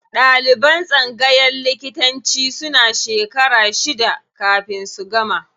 Ɗaliban tsangayan likitanci suna shekara shida kafin su gama.